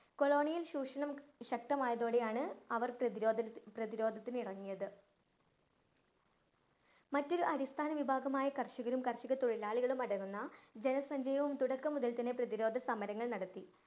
colonial ചൂഷണം ശക്തമായതോടെയാണ് അവര്‍ പ്രതിരോധന~ പ്രതിരോധത്തിന് ഇറങ്ങിയത്. മറ്റൊരു അടിസ്ഥാന വിഭാഗമായ കര്‍ഷകരും, കര്‍ഷകതൊഴിലാളികളും അടങ്ങുന്ന ജനസഞ്ചയവും തുടക്കം മുതല്‍ തന്നെ പ്രതിരോധസമരങ്ങള്‍ നടത്തി.